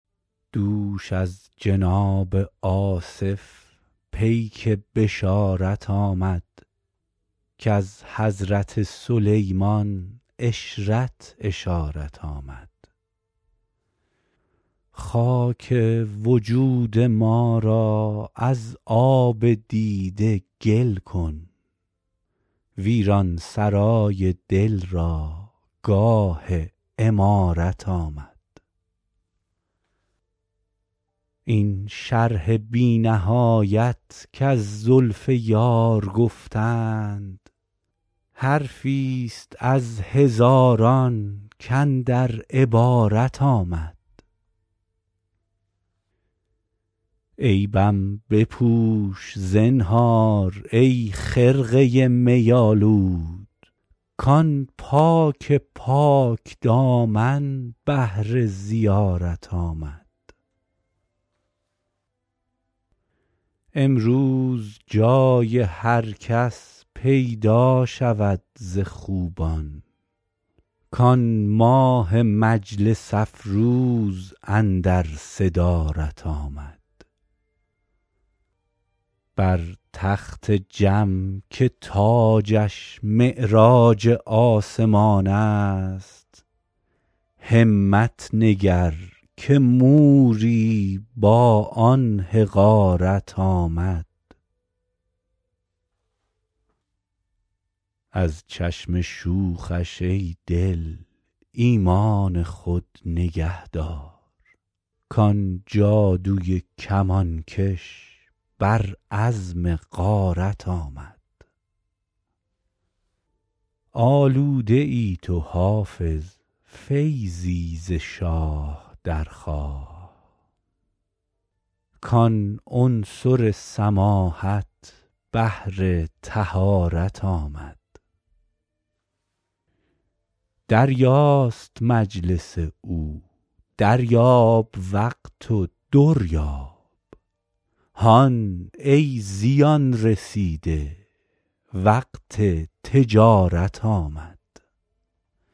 دوش از جناب آصف پیک بشارت آمد کز حضرت سلیمان عشرت اشارت آمد خاک وجود ما را از آب دیده گل کن ویران سرای دل را گاه عمارت آمد این شرح بی نهایت کز زلف یار گفتند حرفی ست از هزاران کاندر عبارت آمد عیبم بپوش زنهار ای خرقه می آلود کآن پاک پاک دامن بهر زیارت آمد امروز جای هر کس پیدا شود ز خوبان کآن ماه مجلس افروز اندر صدارت آمد بر تخت جم که تاجش معراج آسمان است همت نگر که موری با آن حقارت آمد از چشم شوخش ای دل ایمان خود نگه دار کآن جادوی کمانکش بر عزم غارت آمد آلوده ای تو حافظ فیضی ز شاه درخواه کآن عنصر سماحت بهر طهارت آمد دریاست مجلس او دریاب وقت و در یاب هان ای زیان رسیده وقت تجارت آمد